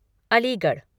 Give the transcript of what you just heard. Aligarh